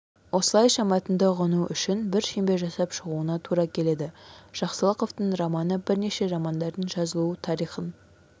осылайша мәтінді ұғыну үшін бір шеңбер жасап шығуына тура келеді жақсылықовтың романы бірнеше романдардың жазылу тарихын